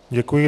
Děkuji.